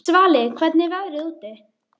Svali, hvernig er veðrið úti?